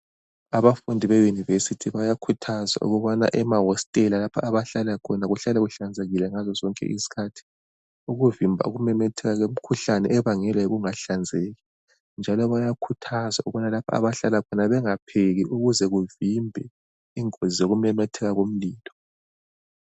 Abafundi beYunivesity bayakhuthazwa ukubana emahostela lapha abahlala khona kuhlale kuhlanzekile ngaso sonke isikhathi, ukuvimba ukumemetheka kwemikhuhlane ebangelwa yikungahlanzeki njalo bayakhuthazwa ukubana lapho abahlala khona bengapheki ukuze kuvimbe ingozi zokumemetheka kumlilo.